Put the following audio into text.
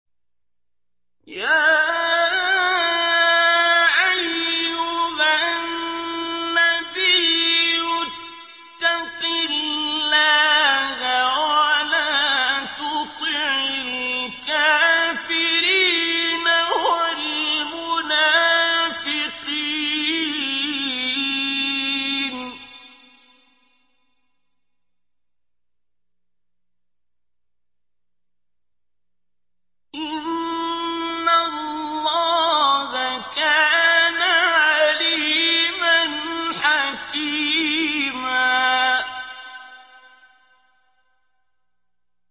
يَا أَيُّهَا النَّبِيُّ اتَّقِ اللَّهَ وَلَا تُطِعِ الْكَافِرِينَ وَالْمُنَافِقِينَ ۗ إِنَّ اللَّهَ كَانَ عَلِيمًا حَكِيمًا